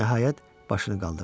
Nəhayət, başını qaldırdı.